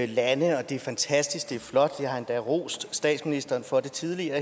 lande det er fantastisk det er flot og jeg har endda rost statsministeren for det tidligere